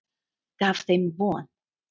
Gaf þeim von.